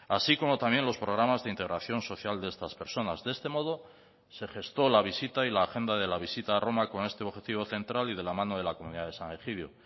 así como también los programas de integración social de estas personas de este modo se gestó la visita y la agenda de la visita a roma con este objetivo central y de la mano de la comunidad de san egidio